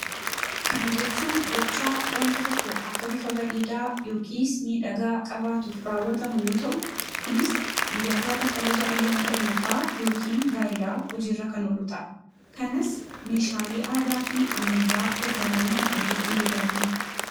Kana jechuun gichaa wanti tokko akka bifa bareedaa yookiis miidhagaa qabaatuuf raawwatamu yoo ta’u, kunis guyyaa gaafa kabaja ayyaana dhalootaa yookiin gaa'elaa hojiirra kan oolu ta'a. Kanas meeshaalee aadaa fi ammayyaa gargaaramuun hojjechuu ni dandeenya.